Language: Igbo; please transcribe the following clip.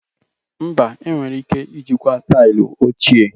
Mba, enwere ike ijikwa taịlị ochie.